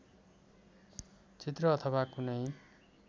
चित्र अथवा कुनै